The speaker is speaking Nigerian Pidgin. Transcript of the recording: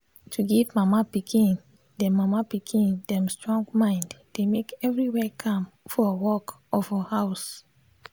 to give mama pikin them mama pikin them strong mind dey make everywhere calm for work or for house.